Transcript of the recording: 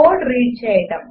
code read చేయడం